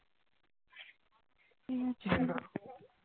উম